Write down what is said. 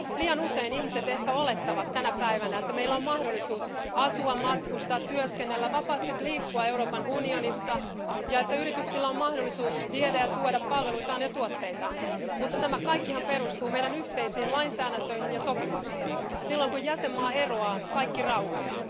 Liian usein ihmiset ehkä olettavat tänä päivänä, että meillä on mahdollisuus asua, matkustaa, työskennellä ja vapaasti liikkua Euroopan unionissa ja että yrityksillä on mahdollisuus viedä ja tuoda palveluitaan ja tuotteitaan. Mutta tämä kaikkihan perustuu meidän yhteisiin lainsäädäntöihimme ja sopimuksiin, ja silloin kun jäsenmaa eroaa, kaikki raukeaa.